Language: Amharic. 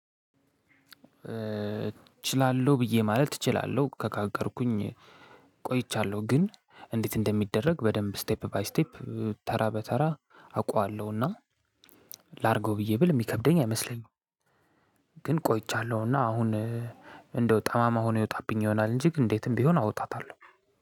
እችላለሁ ብዬ ማለት እችላለሁ ካቀድኩኝ ቆይቻለሁ ግን እንዴት እንደሚደረግ በደንብ ስቴፕ ባይ ስቴፕ ተራ በተራ አውቀዋለሁ እና ላርገው ብዬ ብል የሚከብደኝ አይመስለኝም። ግን ቆይቻለሁና አሁን እንደው ጠማማ ሆኖ ይወጣብኛል ይሆናል እንጂ ግን እንዴትም ቢሆን አወጣታለሁ።